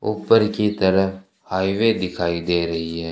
ऊपर की तरह हाईवे दिखाई दे रही है।